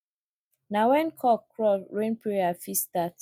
na when cock crow rain prayer fit start